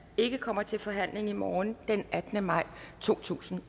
ikke kommer til forhandling i morgen den attende maj totusinde